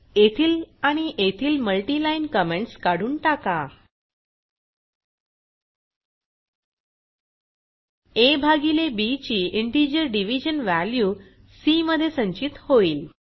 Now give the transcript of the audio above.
येथील आणि येथील मल्टी लाईन कमेंट्स काढून टाका आ भागिले बी ची इंटिजर डिव्हिजन वॅल्यू सी मध्ये संचित होईल